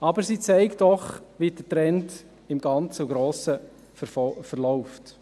Es zeigt jedoch, wie der Trend im Grossen und Ganzen verläuft.